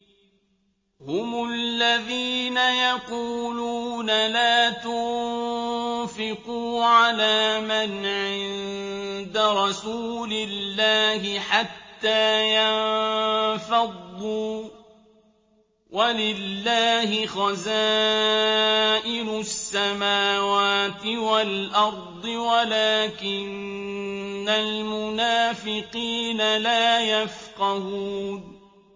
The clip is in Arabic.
هُمُ الَّذِينَ يَقُولُونَ لَا تُنفِقُوا عَلَىٰ مَنْ عِندَ رَسُولِ اللَّهِ حَتَّىٰ يَنفَضُّوا ۗ وَلِلَّهِ خَزَائِنُ السَّمَاوَاتِ وَالْأَرْضِ وَلَٰكِنَّ الْمُنَافِقِينَ لَا يَفْقَهُونَ